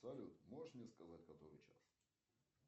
салют можешь мне сказать который час